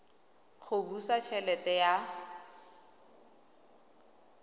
go busa t helete ya